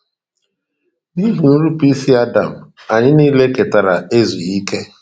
N’ihi nnupụisi Adam, anyị niile ketara ezughị okè.